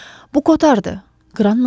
Bu kotardı, Qran mızıldadı.